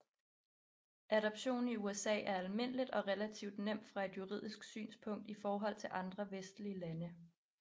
Adoption i USA er almindeligt og relativt nemt fra et juridisk synspunkt i forhold til andre vestlige lande